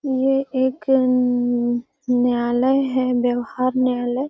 ये एक उम्ममम न्यायालय है व्यवहार न्यायालय।